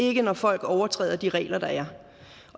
ikke når folk overtræder de regler der